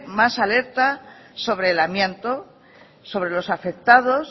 más alerta sobre el amianto sobre los afectados